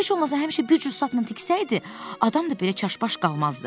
Heç olmasa həmişə bir cür sapla tiksəydi, adam da belə çaşbaş qalmazdı.